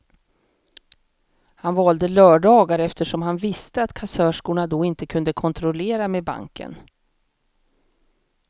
Han valde lördagar eftersom han visste att kassörskorna då inte kunde kontrollera med banken.